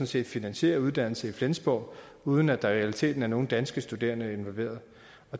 set finansierer uddannelse i flensborg uden at der i realiteten er nogen danske studerende involveret